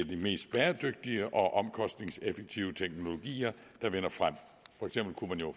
de mest bæredygtige og omkostningseffektive teknologier der vinder frem for eksempel kunne man jo